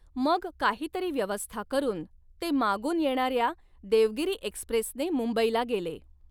मग काहीतरी व्यवस्था करून ते मागून येणाऱ्या देवगिरी एक्स्प्रेसने मुंबईला गेले.